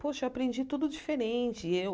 Poxa, eu aprendi tudo diferente. E eu